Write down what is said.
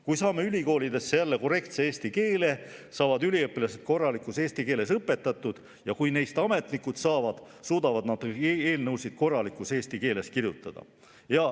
Kui saame ülikoolidesse jälle korrektse eesti keele, saavad üliõpilased korralikus eesti keeles õpetatud, ja kui neist saavad ametnikud, suudavad nad eelnõusid kirjutada korralikus eesti keeles.